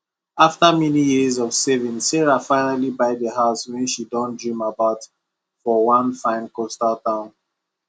after many years of saving sarah finally buy the house wey she don dream about for one fine coastal town